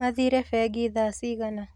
Mathire bengi thaa cigana?